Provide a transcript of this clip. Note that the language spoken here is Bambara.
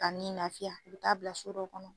Ka ni lafiya i bi taa bila so dɔ kɔnɔ